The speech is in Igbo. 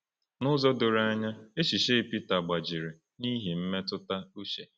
N’ụzọ doro anya, echiche Pita gbajiri n’ihi mmetụta uche.